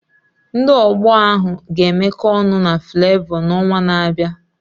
Ndị ọgba ahụ ga-emekọ ọnụ na Fulevo n'ọnwa na-abịa.